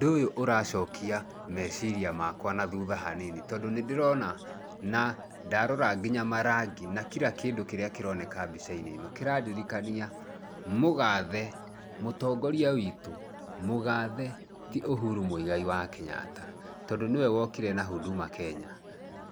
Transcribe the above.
ũndũ ũyũ ũracokia meciria makwa na thutha hanini, tondũ nĩ ndĩrona na ndarora kinya marangi na kira kĩndũ kĩrĩ mbica-inĩ ĩno. Kĩrandirikania mũgathe mũtongoria witũ, Uhuru Mũigai wa Kenyatta. Tondũ nĩwe wokire na huduma Kenya.